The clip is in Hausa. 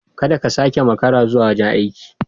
Kada ka sake ka makara zuwa wajen aiki.